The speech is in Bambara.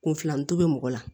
Kunfilanito bɛ mɔgɔ la